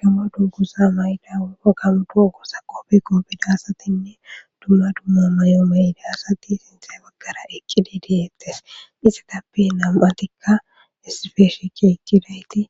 Gamo dunguza mayi utida asati qobe qobida asati duma duma mayo mayiza asati sinta bagara eqidi detes izatappe nama'tika issippe shiqi eqidaysika